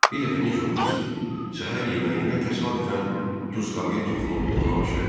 Bir dəfə necə oldusa, səhər yeməyində təsadüfən duzqabıya toxunub onu aşırdım.